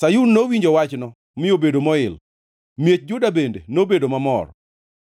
Sayun nowinjo wachno mi obedo moil, miech Juda bende nobedo mamor,